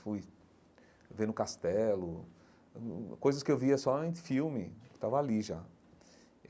Fui ver no Castelo, coisas que eu via só em filme, eu estava ali já.